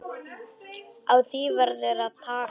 Á því verður að taka.